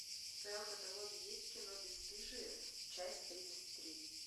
в твоем каталоге есть кино бесстыжие часть тридцать три